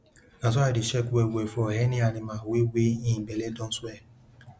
na so i dey check wellwell for any animal wey wey hin belle don swell